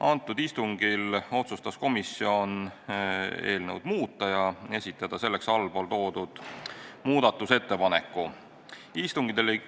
Sellel istungil otsustas komisjon eelnõu muuta ja esitada selleks ühe muudatusettepaneku.